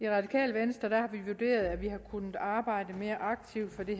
radikale venstre har vi vurderet at vi har kunnet arbejde mere aktivt for det